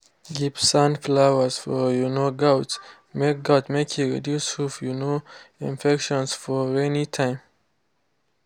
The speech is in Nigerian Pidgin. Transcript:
give sand floors for um goats make goats make e reduce hoof um infections for rainy time.